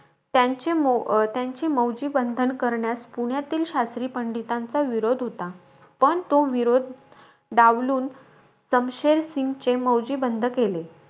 त्यांचे अं त्यांचे मौजीबंधन करण्यास, पुण्यातील शास्त्री पंडितांचा विरोध होता. पण तो विरोध डावलून, समशेर सिंगचे मौजीबंध केले.